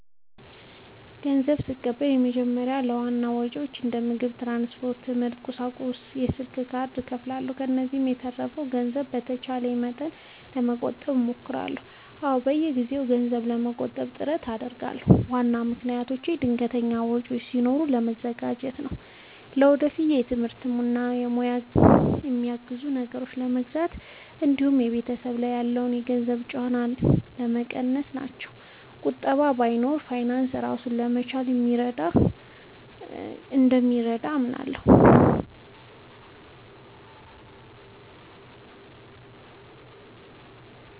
ንዘብ ስቀበል በመጀመሪያ ለዋና ወጪዎቼ እንደ ምግብ፣ ትራንስፖርት፣ የትምህርት ቁሳቁሶች እና የስልክ ካርድ እከፋፍለዋለሁ። ከዚያ የተረፈውን ገንዘብ በተቻለ መጠን ለመቆጠብ እሞክራለሁ። አዎ፣ በየጊዜው ገንዘብ ለመቆጠብ ጥረት አደርጋለሁ። ዋና ምክንያቶቼም ድንገተኛ ወጪዎች ሲኖሩ ለመዘጋጀት፣ ለወደፊት ትምህርቴን እና ሙያዬን የሚያግዙ ነገሮችን ለመግዛት እንዲሁም በቤተሰብ ላይ ያለውን የገንዘብ ጫና ለመቀነስ ናቸው። ቁጠባ መኖሩ በፋይናንስ ራስን ለመቻል እንደሚረዳ አምናለሁ።